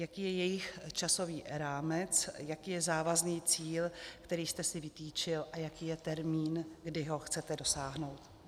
Jaký je jejich časový rámec, jaký je závazný cíl, který jste si vytyčil, a jaký je termín, kdy ho chcete dosáhnout?